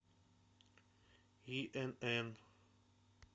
инн